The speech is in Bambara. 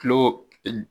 Kilo